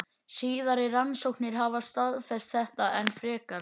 Síðari rannsóknir hafa staðfest þetta enn frekar.